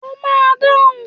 O máa dáhùn!.